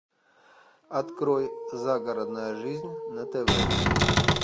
открой загородная жизнь на тв